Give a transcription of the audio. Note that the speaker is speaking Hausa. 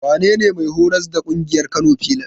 Wanene mai horas da ƙungiyar Kano filas?